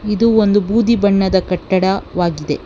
ಇದು ಒಂದು ಬೂದಿ ಬಣ್ಣದ ಕಟ್ಟಡವಾಗಿದೆ.